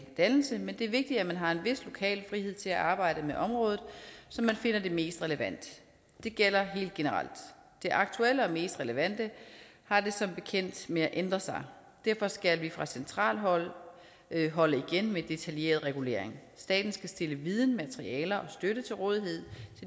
dannelse men det er vigtigt at man har en vis lokal frihed til at arbejde med området som man finder det mest relevant det gælder helt generelt det aktuelle og mest relevante har det som bekendt med at ændre sig derfor skal vi fra centralt hold holde igen med detaljeret regulering staten skal stille viden materialer og støtte til rådighed